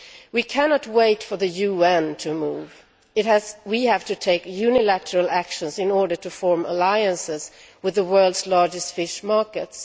We cannot wait for the UN to move, we have to take unilateral actions in order to form alliances with the world's largest fish markets.